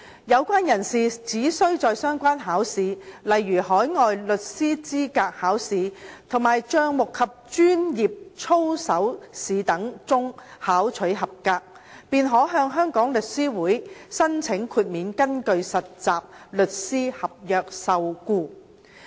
有關人士只需在相關考試，例如海外律師資格考試及帳目及專業操守試等中考取合格，便可以向香港律師會申請豁免根據實習律師合約受僱。